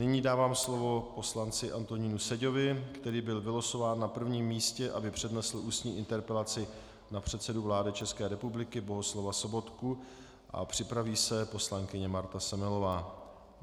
Nyní dávám slovo poslanci Antonínu Seďovi, který byl vylosován na prvním místě, aby přednesl ústní interpelaci na předsedu vlády České republiky Bohuslava Sobotku, a připraví se poslankyně Marta Semelová.